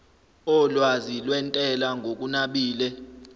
olwazi lwentela ngokunabile